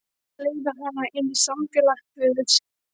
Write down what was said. Leiða hana inn í samfélag guðs.